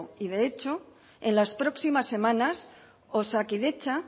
y de hecho en las próximas semanas osakidetza